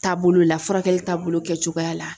Taabolo la furakɛli taabolo kɛcogoya la.